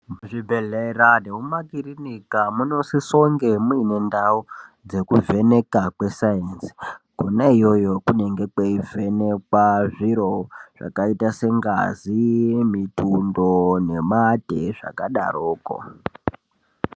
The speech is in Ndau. Zvibehlera nemumakirinika munosisonge muine ndau dzekuvheneka kwesainzi . Kona iyoyo kunonga kweivhenekwa zviro zvakaita sengazi , mikumbo nemate zvakadaroko .